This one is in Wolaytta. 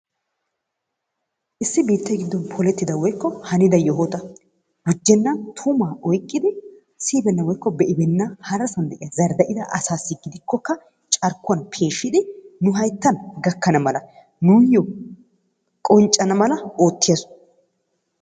Issi biittee giddon polettida woyikko hanida yohuwa gujjenna tumaa oyikkidi siyibeenna woyikko be'ibeenna harasan de'iya zardda'ida asaassi gidikkokka carkkuwan peeshshidi nu hayittan gakkana mala nuyyo qonccana mala oottiya soho.